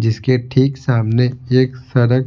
जिसके ठीक सामने एक सड़क --